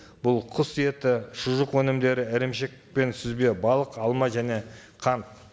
бұл құс еті шұжық өнімдері ірімшік пен сүзбе балық алма және қант